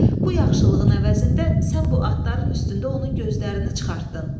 Bu yaxşılığın əvəzində sən bu atların üstündə onun gözlərini çıxartdın.